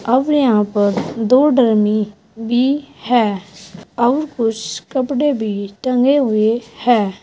अब यहां पर दो डरमी भी हैं और कुछ कपड़े भी टंगे हुए हैं।